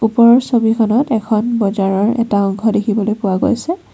ওপৰৰ ছবিখনত এখন বজাৰৰ এটা অংশ দেখিবলৈ পোৱা গৈছে।